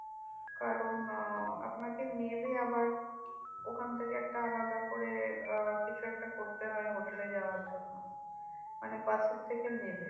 কারণ আহ আপনাকে নেমে আবার ওখান থেকে একটা আলাদা আহ কিছু একটা করতে হয় hotel এ যাওয়ার জন্য মানে বাসের থেকে নেবে।